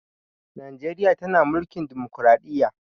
Najreriya tana mulkin dimokradiyya